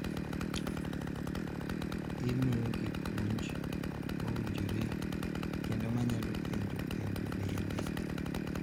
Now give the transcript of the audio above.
Imiyogi puonj mowinjore kendo ginyalo penjo penjo bende.